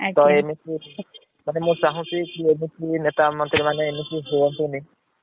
ତ ଏମିତି ଆଜ୍ଞା । ମୁଁ ଚାହୁଁଛି କି ନେତା ମନ୍ତ୍ରୀ ମାନେ ଏମିତି ହୁଂତୁନୀ